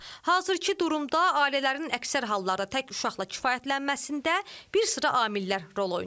Hazırki durumda ailələrin əksər hallarda tək uşaqla kifayətlənməsində bir sıra amillər rol oynayır.